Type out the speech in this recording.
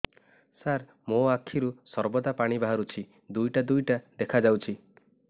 ସାର ମୋ ଆଖିରୁ ସର୍ବଦା ପାଣି ବାହାରୁଛି ଦୁଇଟା ଦୁଇଟା ଦେଖାଯାଉଛି